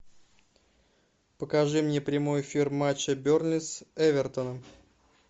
покажи мне прямой эфир матча бернли с эвертоном